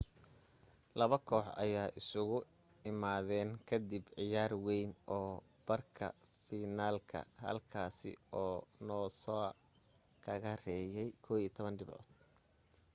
labada koox ayaa isugu imaadeen ka dib ciyaar wayn oo barka finalka halkaasi uu noosa kaga reeyay 11 dhibcood